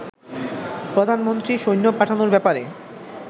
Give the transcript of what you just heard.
প্রধানমন্ত্রী সৈন্য পাঠানোর ব্যাপারে